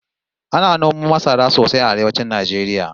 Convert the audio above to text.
Ana noman masara sosai a arewacin Najeriya